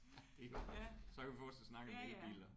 Ja det er godt nok så kan vi fortsat snakke om elbiler